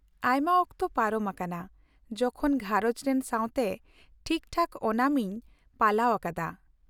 ᱟᱭᱢᱟ ᱚᱠᱛᱚ ᱯᱟᱨᱚᱢ ᱟᱠᱟᱱᱟ ᱡᱚᱠᱷᱚᱱ ᱜᱷᱟᱨᱚᱸᱡᱽ ᱨᱮᱱ ᱥᱟᱶᱛᱮ ᱴᱷᱤᱠ ᱴᱷᱟᱠ ᱳᱱᱟᱢ ᱤᱧ ᱯᱟᱞᱟᱣ ᱟᱠᱟᱫᱟ ᱾